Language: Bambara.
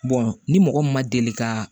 ni mɔgɔ min ma deli ka